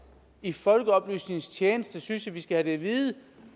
i folkeoplysningens tjeneste synes jeg vi skal have det at vide